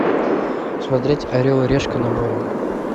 смотреть орел и решка на море